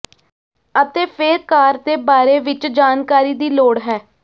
ਅਤੇ ਫਿਰ ਕਾਰ ਦੇ ਬਾਰੇ ਵਿੱਚ ਜਾਣਕਾਰੀ ਦੀ ਲੋੜ ਹੈ